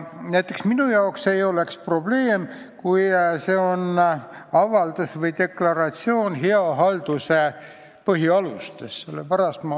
Näiteks, minu jaoks ei oleks probleemi, kui see oleks avaldus või deklaratsioon hea halduse põhialuste kohta.